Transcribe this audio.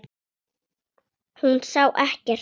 Hún sá ekkert.